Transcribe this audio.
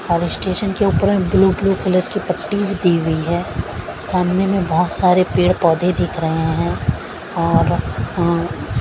और इस्टेशन के ऊपर मे ब्लू ब्लू कलर की पट्टी भी दी हुई है सामने में बहुत सारे पेड़ पौधे दिख रहे हैं और अं --